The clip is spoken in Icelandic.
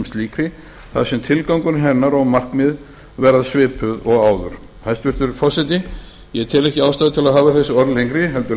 slíkri þar sem tilgangur hennar og markmið verða svipuð og áður hæstvirtur forseti ég tel ekki ástæðu til að hafa þessi orð lengri heldur